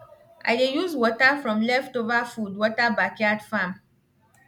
i dey use water from leftover food water backyard farm